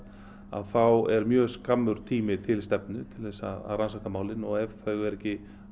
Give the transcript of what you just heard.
þá er mjög skammur tími til stefnu til að rannsaka málin og ef þau eru ekki